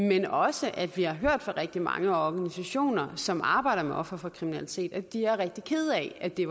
men også at vi har hørt fra rigtig mange organisationer som arbejder med ofre for kriminalitet at de er rigtig kede af at det